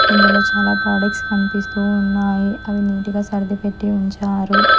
ఇందులో చాలా ప్రొడక్ట్స్ కనిపిస్తూ ఉన్నాయి అవి నీటిగా సర్దిపెట్టి ఉంచారు.